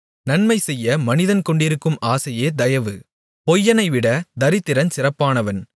நன்மைசெய்ய மனிதன் கொண்டிருக்கும் ஆசையே தயவு பொய்யனைவிட தரித்திரன் சிறப்பானவன்